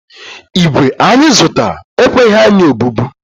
ígwè anyị zụtara ekweghi anyị obubu